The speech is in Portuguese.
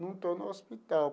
Não estou no hospital.